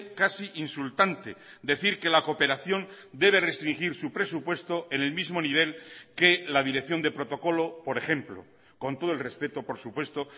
casi insultante decir que la cooperación debe restringir su presupuesto en el mismo nivel que la dirección de protocolo por ejemplo con todo el respeto por supuesto